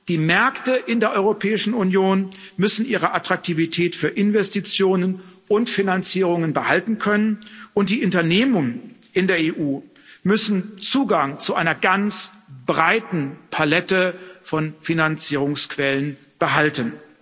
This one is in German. Die Märkte in der Europäischen Union müssen ihre Attraktivität für Investitionen und Finanzierungen behalten können, und die Unternehmen in der EU müssen Zugang zu einer ganz breiten Palette von Finanzierungsquellen behalten.